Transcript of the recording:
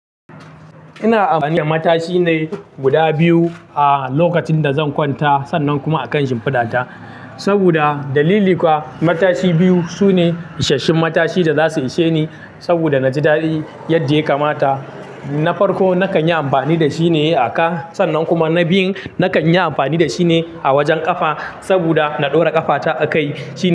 Ina amfani da matashi ne guda biyu a lokacin da zan kwanta sannan kuma a kan shimfidata. Saboda dalili kuwa matashi biyu su ne isasshen matashi da za su ishe ni saboda na ji dadi yadda ya kamata. Na farko, na kan yi amfani da shi ne a ka sannan kuma na biyun, na kan yi amfani da shi ne a wajen ƙafa saboda na ɗora ƙafata a kai shi.